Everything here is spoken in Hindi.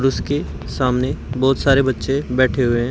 उसके सामने बहुत सारे बच्चे बैठे हुए हैं।